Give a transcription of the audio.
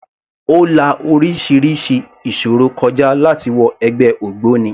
Ó la orísirísi ìṣòro kọ já láti wọ ẹgbẹ́ ògbóni.